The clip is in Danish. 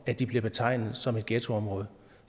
at de bliver betegnet som et ghettoområde